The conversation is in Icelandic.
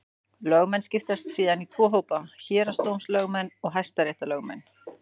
Lögmenn skiptast síðan í tvo hópa: Héraðsdómslögmenn og hæstaréttarlögmenn.